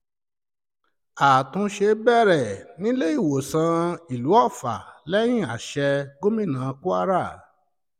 àtúnṣe bẹ̀rẹ̀ níléèọ̀sán ìlú otte lẹ́yìn àsè gómìnà kwara